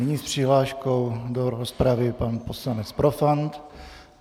Nyní s přihláškou do rozpravy pan poslanec Profant.